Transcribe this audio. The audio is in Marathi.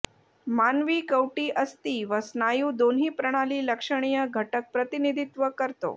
मानवी कवटी अस्थी व स्नायू दोन्ही प्रणाली लक्षणीय घटक प्रतिनिधित्व करतो